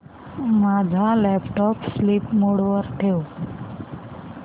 माझा laptop sleep mode वर ठेव